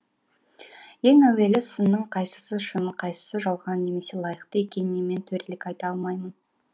ең әуелі сынның қайсысы шын қайсысы жалған немесе лайықты екеніне мен төрелік айта алмаймын